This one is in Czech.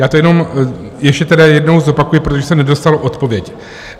Já to jenom ještě jednou zopakuji, protože jsem nedostal odpověď.